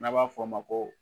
N'a b'a fɔ a ma ko